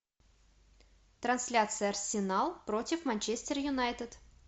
трансляция арсенал против манчестер юнайтед